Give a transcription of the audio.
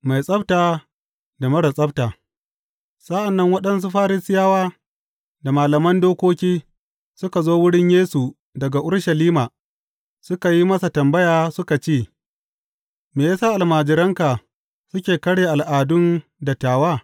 Mai tsabta da marar tsabta Sa’an nan waɗansu Farisiyawa da malaman dokoki suka zo wurin Yesu daga Urushalima suka yi tambaya suka ce, Me ya sa almajiranka suke karya al’adun dattawa?